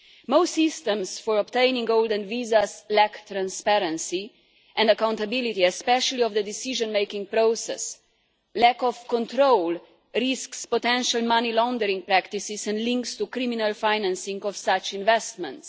Most systems for obtaining golden visas lack transparency and accountability, especially in the decision-making process. Lack of control risks potential money laundering practices and links to criminal financing for such investments.